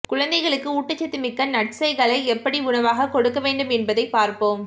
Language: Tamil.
குழந்தைகளுக்கு ஊட்டச்சத்துமிக்க நட்ஸைகளை எப்படி உணவாக கொடுக்க வேண்டும் என்பதை பார்ப்போம்